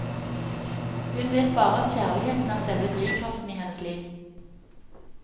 Hun vet bare at kjærligheten er selve drivkraften i hennes liv.